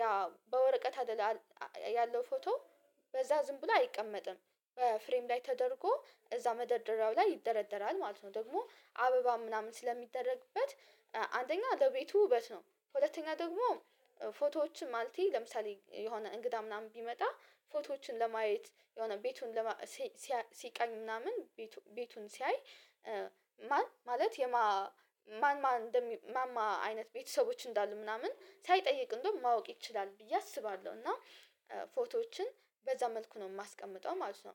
ያ በወረቀት አይደለም ያለው ፎቶ በዛ ዝም ብሎ አይቀመጥም በፍሬም ላይ ተደርጎ እዛ መደርደሪያው ላይ ይደረደራል ማለት ነው። ደግሞ አበባ ምናምን ስለሚደረግበት አንደኛ ለቤቱ ውበት ነው፣ ሁለተኛ ደግሞ ፎቶዎችን ማለቴ ለምሳሌ የሆነ እንግዳ ምናምን ቢመጣ ፎቶዎችን ለማየት የሆነ ቤቱን ሲቃኝ ምናምን ቤቱን ሲያይ ማን ማለት የማን ማን ማን ማማ አይነት ቤተሰቦች እንዳሉ ምናምን ሳይጠይቅ እንደውም ማወቅ ይችላል ብዬ አስባለሁ። እና ፎቶዎችን በዛ መልኩ ነው የማስቀምጠው ማለት ነው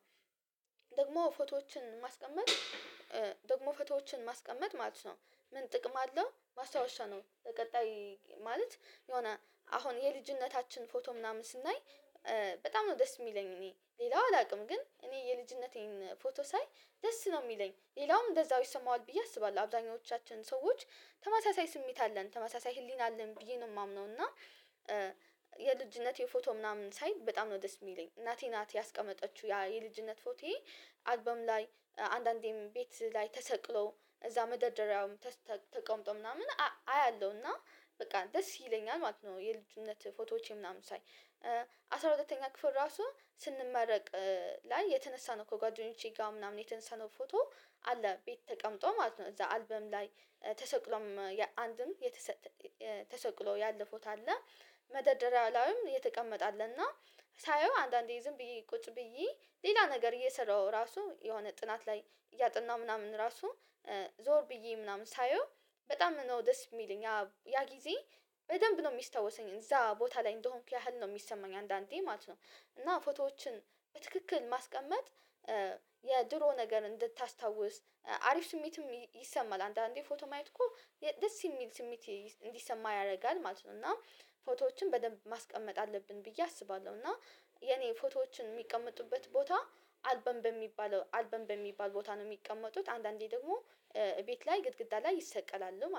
ደግሞ ፎቶዎችን ማስቀመጥ ደግሞ ፎቶዎችን ማስቀመጥ ማለት ነው ምን ጥቅም አለው ማስታወሻ ነው በቀጣይ ማለት የሆነ አሁን የልጅነታችን ፎቶ ምናምን ስናይ በጣም ነው ደስ የሚለኝ እኔ ሌላው አላውቅም ግን እኔ የልጅነቴን ፎቶ ሳይ ደስ ነው የሚለኝ ሌላውም እንደዛው ይሰማዋል ብዬ አስባለሁ። አብዛኞቻችን ሰዎች ተመሳሳይ ስሜት አለን ተመሳሳይ ህሊና አለን ብዬ ነው የማምነው እና የልጅነቴ ፎቶ ምናምን ሳይ በጣም ነው ዲስ የሚለኝ እናቴ ናት ያስቀመጠችው የልጅነት ፎቶዬ አልበም ላይ አንዳንዴም ቤት ላይ ተሰቅሎ እዛ መደርደሪያው ተቀምጦ ምናምን አያለሁና በቃ ደስ ይለኛል ማለት ነው፣ የልጅነት ፎቶዎቼ ምናምን ሳይ አስራ ሁለተኛ ክፍል ራሱ ስንመረቅ ላይ የተነሳ ነው ከጓደኞቼ ጋር ምናምን የተነሳ ነው ፎቶ አለ ቤት ተቀምጦ ማለት ነው እዛ አልበም ላይ ተሰቅሎም አንድም የተሰቅሎ ያለ ፎቶ አለ መደራደሪያ ላይም የተቀመጠ አለና ሳየው አንዳንዴ ዝም ብዬ ቁጭ ብዬ ሌላ ነገር እየሰራሁ ራሱ የሆነ ጥናት ላይ እያጠና ምናምን ራሱ ዞር ብዬ ምናምን ሳየው በጣም ነው ደስ የሚለኝ ያ ጊዜ በደንብ ነው የሚስታወሰኝ እዛ ቦታ ላይ እንደሆንኩ ያህል ነው የሚሰማኝ አንዳንዴ ማለት ነው። እና ፎቶዎችን በትክክል ማስቀመጥ የድሮ ነገር እንድታስታውስ፣ አሪፍ ስሜትም ይሰማል አንዳንዴ ፎቶ ማየት እኮ ደስ የሚል ስሜት እንዲሰማ ያደርጋል ማለት ነው እና ፎቶዎችን በደንብ ማስቀመጥ አለብን ብዬ አስባለሁ፣ እና የኔ ፎቶዎችን የሚቀመጡበት ቦታ አልበም በሚባለው አልበም በሚባል ቦታ ነው የሚቀመጡት አንዳንዴ ደግሞ ቤት ላይ ግድግዳ ላይ ይሰቀላል።